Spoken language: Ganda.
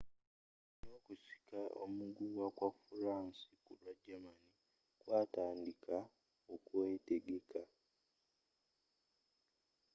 ne okusika omuguwa kwa furansi kulwa germani kwatandiika okwetegeka